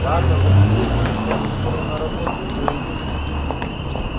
ладно засиделись мы с тобой скоро на работу уже идти